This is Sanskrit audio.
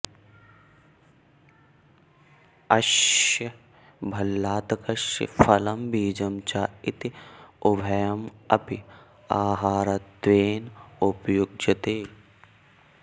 अस्य भल्लातकस्य फलं बीजं च इति उभयम् अपि आहारत्वेन उपयुज्यते